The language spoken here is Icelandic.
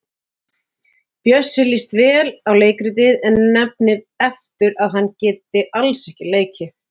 Bjössa líst vel á leikritið en nefnir aftur að hann geti alls ekki leikið.